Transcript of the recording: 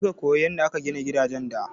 Kaje ka koyo yanda aka gina gidajen da!